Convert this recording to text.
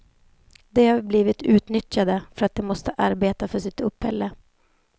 De har blivit utnyttjade för att de måste arbeta för sitt uppehälle.